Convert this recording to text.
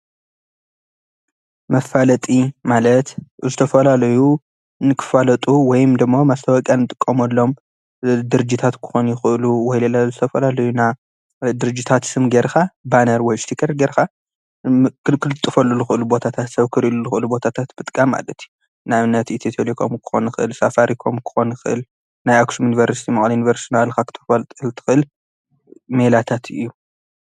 መፋለጢ ማለት ንዝተፈላለዩ ንክፋለጡ ወይንም ደሞ መፋለጢ እንጥቀመሎም ወይ ድርጅታት ክኾኑ ይኽእሉ፡፡ ወለዶ ዝፈጠሮም ድርጅታት ስም ጌርካ ባነር ወይ ድም እስቲከር ጌርካ ክትልጥፈሉ እትኽእል ቦታታት ሰብ ክርአሉ ዝኽእል ቦታታት ምጥቃም ማለት እዩ፡፡ ንኣብነት ኢትዩ ቴለኮም ክኾን ይኽእል፣ ሳፋሪ ኮም ክኾን ይኽእል ፣ኣክሱም ዩኒቨርስቲ፣ መቐለ ዩኒቨርስቲ እናበልኻ እናበልኻ ክተፈልጠሉ እትኽእል ሜላታት እዩ፡፡